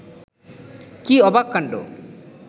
কী অবাক কাণ্ড